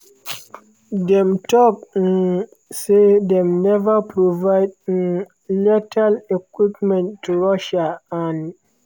dem tok um say dem neva provide um lethal equipment to russia and